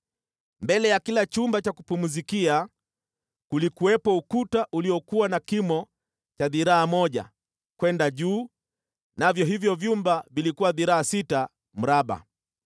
Mbele ya kila chumba cha kupumzikia kulikuwepo ukuta uliokuwa na kimo cha dhiraa moja kwenda juu, navyo hivyo vyumba vilikuwa dhiraa sita mraba.